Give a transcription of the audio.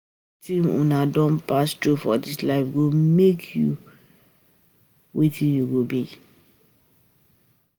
um Nah Wetin um u don pass through for dis life, go make u wetin u go be